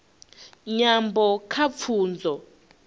nyambo kha pfunzo